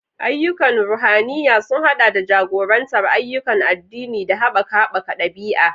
Ayyukan ruhaniya sun haɗa da jagorantar ayyukan addini da haɓaka haɓaka ɗabi'a.